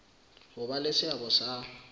ho ba le seabo sa